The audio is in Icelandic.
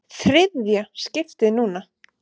ÞRIÐJA skiptið núna!